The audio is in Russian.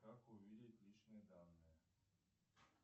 как увидеть личные данные